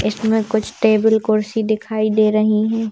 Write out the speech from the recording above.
इसमें कुछ टेबल कुर्सी दिखाई दे रही है।